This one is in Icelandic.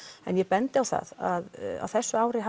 en ég bendi á það að á þessu ári